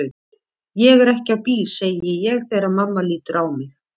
Ég er ekki á bíl, segi ég þegar mamma lítur á mig.